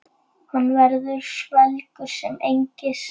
Hann verður svelgur sem engist.